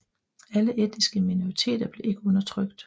Alle etniske minoriteter blev ikke undertrykt